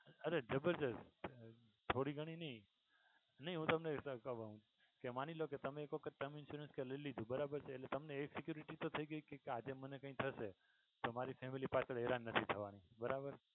અરે જબરદસ્ત થોડી ઘણી નહીં હું તમને કહું કે માની લ્યો કે તમે કોક term insurance લઈ લીધું બરાબર છે એટલે તમને એ security તો થઈ ગઈ કે આજે મને કઈ થશે તો મારી family પાછળ હેરાન નથી થવાનું બરાબર છે.